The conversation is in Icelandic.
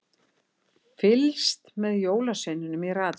Fylgst með jólasveininum í ratsjá